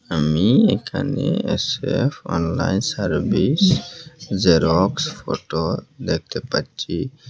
আমি এখানে S F online service xerox photo দেখতে পাচ্ছি।